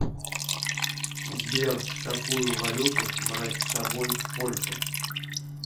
сбер какую валюту брать с собой в польшу